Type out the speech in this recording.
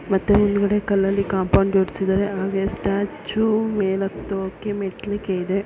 ಮತ್ತೆ ಹಿಂದೆಗಡೆ ಕಲ್ಲಲಿ ಕಾಂಪೌಂಡ್ ಜೋಡಿಸಿದ್ದಾರೆ ಹಾಗೆ ಸ್ಟ್ಯಾಚ್ಯೂ ಮೇಲೆ ಹತೋಕೆ ಮೆಟ್ಟಲಿಕೆ ಇದೆ--